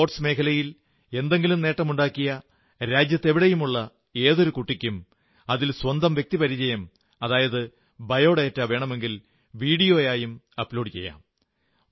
കായിക മേഖലയിൽ എന്തെങ്കിലും നേട്ടമുണ്ടാക്കിയ രാജ്യത്തെവിടെയുമുള്ള ഏതൊരു കുട്ടിക്കും അതിൽ സ്വന്തം വ്യക്തിപരിചയവും ബയോഡേറ്റ വേണമെങ്കിൽ വീഡിയോയും അപ്ലോഡു ചെയ്യാം